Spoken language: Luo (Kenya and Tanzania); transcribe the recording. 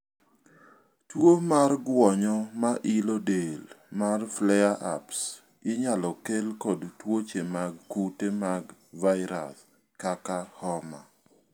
tuo mar guonyo ma ilo del mar flare ups inyalo kel kod tuoche mag kute mag vairas kaka homa